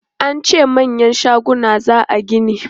An ce manyan shaguna za a gini.